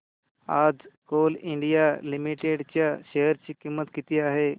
आज Coal India Limited च्या share ची किंमत किती आहे